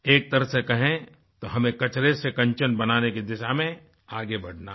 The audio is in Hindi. एक तरह से कहें तो हमें कचरे से कंचन बनाने की दिशा में आगे बढ़ना है